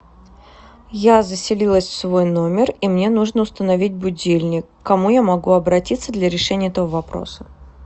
я заселилась в свой номер и мне нужно установить будильник к кому я могу обратиться для решения этого вопроса